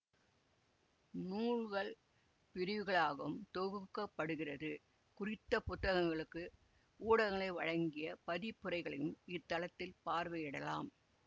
நூல்கள் பிரிவுகளாகவும் தொகுக்கப்படுகிறது குறித்த புத்தகங்களுக்கு ஊடகங்கள் வழங்கிய மதிப்புரைகளையும் இத்தளத்தில் பார்வையிடலாம்